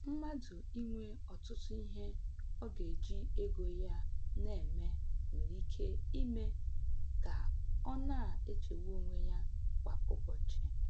Mmadụ inwe ọtụtụ ihe ọ ga-eji ego ya na-eme nwere ike ime ka ọ na-echegbu onwe ya kwa ụbọchị.